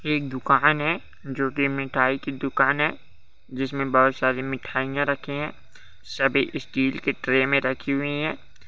ये एक दुकान है जो की मिठाई की दुकान है जिसमें बहुत सारी मिठाइयां रखे है सभी स्टील के ट्रे में रखी हुई है।